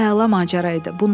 Bu əla macəra idi.